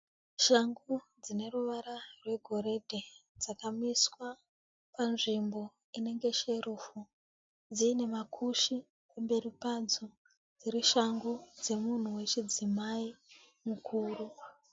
Shangu dzine ruvara rwegoridhe dzakamiswa panzvimbo inenge sherufu dziine makushe kumberi padzo dziri shangu dzemunhu wechidzimai mukuru.